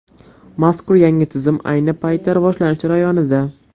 Mazkur yangi tizim ayni paytda rivojlanish jarayonida.